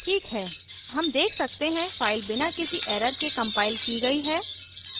ठीक है हम देख सकते हैं फ़ाइल बिना किसी error के compiled की गई है